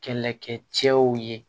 Kɛlɛkɛcɛw ye